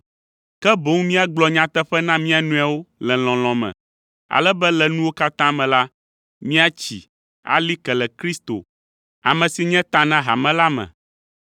ke boŋ míagblɔ nyateƒe na mía nɔewo le lɔlɔ̃ me, ale be le nuwo katã me la, míatsi, ali ke le Kristo, ame si nye ta na hame la me.